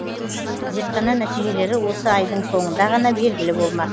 зертхана нәтижелері осы айдың соңында ғана белгілі болмақ